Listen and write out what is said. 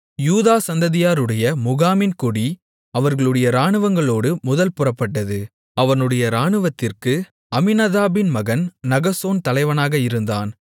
யூதா சந்ததியாருடைய முகாமின் கொடி அவர்களுடைய இராணுவங்களோடு முதல் புறப்பட்டது அவனுடைய இராணுவத்திற்கு அம்மினதாபின் மகன் நகசோன் தலைவனாக இருந்தான்